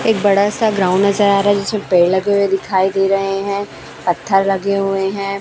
एक बड़ा सा ग्राउंड नजर आ रहा है जिसमें पेड़ लगे हुए दिखाई दे रहे हैं पत्थर लगे हुए हैं।